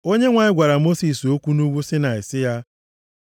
Onyenwe anyị gwara Mosis okwu nʼugwu Saịnaị sị ya,